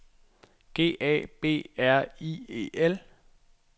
G A B R I E L